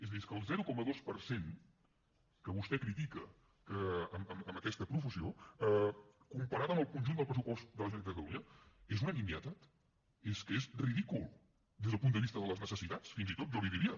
és a dir és que el zero coma dos per cent que vostè critica amb aquesta profusió comparat amb el conjunt del pressupost de la generalitat de catalunya és una nimietat és que és ridícul des del punt de vista de les necessitats fins i tot jo li diria